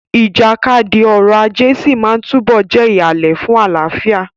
Ìjàkadì ọrọ̀ ajé sí máa túbọ̀ jẹ́ ìhàlẹ̀ fún àlàáfíà.